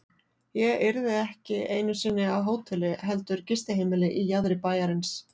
Ég yrði ekki einu sinni á hóteli heldur gistiheimili í jaðri bæjarins.